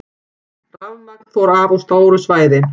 Rafmagn fór af á stóru svæði